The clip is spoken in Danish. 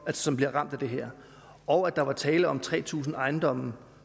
som bliver ramt af det her og at der var tale om tre tusind ejendomme